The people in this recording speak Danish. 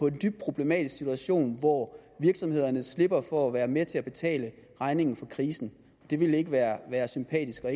en dybt problematisk situation hvor virksomhederne slipper for at være med til at betale regningen for krisen det ville ikke være være sympatisk og